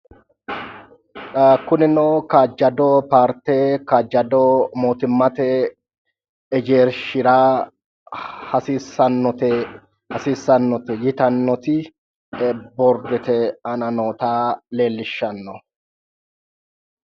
Kunino kaajado paarte kaajjado mootimmate hegershshira hasiissannote yitannoti boorddete aana noota leellishshanno.